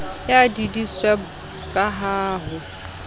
ya deedsweb ka ha ho